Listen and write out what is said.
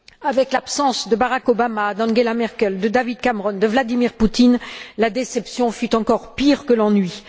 Avec l'absence de Barack Obama, d'Angela Merkel, de David Cameron, de Vladimir Poutine, la déception fut encore pire que l'ennui.